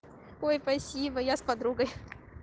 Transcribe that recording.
ой спасибо я с подругой